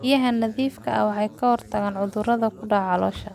Biyaha nadiifka ah waxay ka hortagaan cudurrada ku dhaca xoolaha.